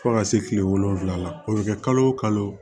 Fo ka se kile wolonwula ma o bɛ kɛ kalo o kalo